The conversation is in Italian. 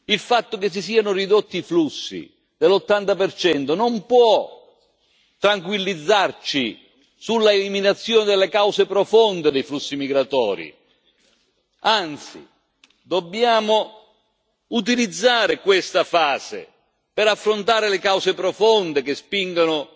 Il fatto che si siano ridotti i flussi dell'80 non può tranquillizzarci sull'eliminazione delle cause profonde dei flussi migratori anzi, dobbiamo utilizzare questa fase per affrontare le cause profonde che spingono